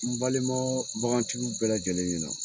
N balimaw bagantigiw bɛɛ lajɛlen ɲɛna.